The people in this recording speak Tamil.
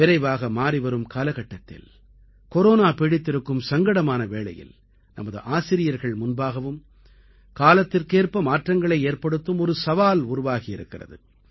விரைவாக மாறிவரும் காலகட்டத்தில் கொரோனா பீடித்திருக்கும் சங்கடமான வேளையில் நமது ஆசிரியர்கள் முன்பாகவும் காலத்திற்கேற்ப மாற்றங்களை ஏற்படுத்தும் ஒரு சவால் உருவாகியிருக்கிறது